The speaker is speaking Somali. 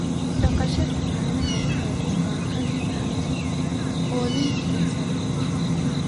Dhaqashada caanaha waxay u baahan tahay quudin tayo sare leh.